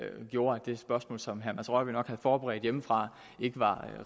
gjorde at det spørgsmål som herre mads rørvig nok havde forberedt hjemmefra ikke var